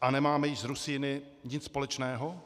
a nemáme již s Rusíny nic společného?